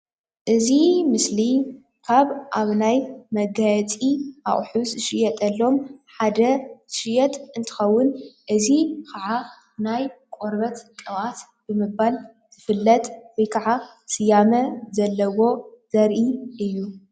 እዚ ምስሊ ካብ ኣብ ናይ መጋየፂ አቂሑት ዝሽየጠሎም ሓደ ዝሽየጥ እንትከውን እዚ ከዓ ናይ ቆርበት ቅብአት ብምባል ዝፍለጥ ወይ ከዓ ስያመ ዘለዎ ዘሪኢ እዩ፡፡